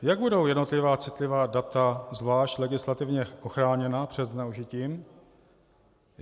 Jak budou jednotlivá citlivá data zvlášť legislativně ochráněna před zneužitím?